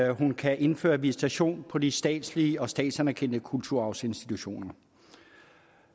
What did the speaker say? at hun kan indføre visitation på de statslige og statsanerkendte kulturarvsinstitutioner